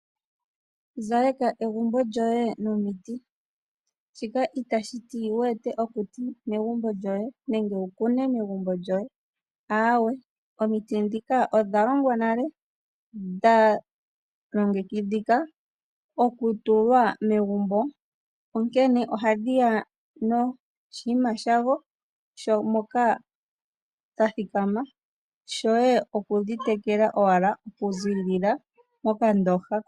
Zaleka egumbo lyoye nomiti. Shika itashi ti wu ete okuti megumbo lyoye nenge wu kune megumbo lyoye, aawe, omiti ndhika odha longwa nale dha longekidhika okutulwa megumbo, onkene ohadhi ya noshinima shadho moka dha thikama. Shoye oku dhi tekela owala okuziilila mokandooha.